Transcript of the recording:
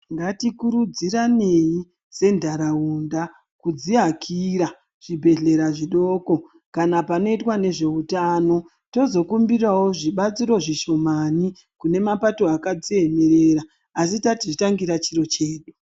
Ndatikurudziranei sendaraunda kudziakira chibhehleya chidoko chinoita nezveutano tozokumbirawo zvibatsiro zvishomani kune mapato akadziemerera asi tadzitangira dziro dzedu.